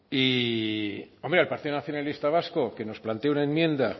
y hombre al partido nacionalista vasco que nos plantea una enmienda